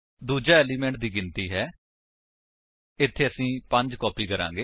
ਦੂਜਾ ਏਲਿਮੇਂਟ ਦੀ ਗਿਣਤੀ ਹੈ ਇੱਥੇ ਅਸੀ 5 ਕਾਪੀ ਕਰਾਂਗੇ